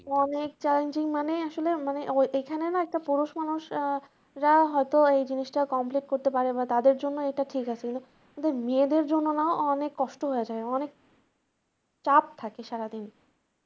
অনেক challenging মানে আসলে মানে এখানে না একটা পুরুষ মানুষ আহ রা হয়তো এই জিনিস টা complete করতে পারে বা তাদের জন্য এটা ঠিক আছে কিন্তু কিন্তু মেয়েদের জন্য না অনেক কষ্ট হয়ে যায় অনেক চাপ থাকে সারাদিন।